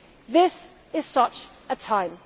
This is such